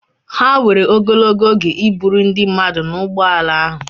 Ha were ogologo oge iburu ndi mmadu na ụgbọ ala ahụ.